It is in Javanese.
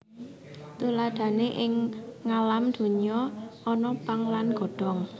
Tuladhané ing ngalam donya ana pang lan godhong